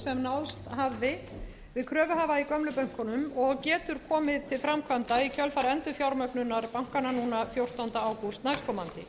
sem náðst hafði við kröfuhafa í gömlu bönkunum og getur komið til framkvæmda í kjölfar endurfjármögnunar bankanna núna fjórtánda ágúst næstkomandi